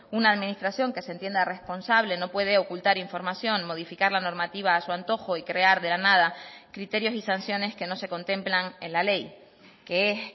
una administración que se entienda responsable no puede ocultar información modificar la normativa a su antojo y crear de la nada criterios y sanciones que no se contemplan en la ley que es